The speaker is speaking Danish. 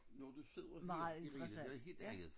Når du sidder her Irina noget helt andet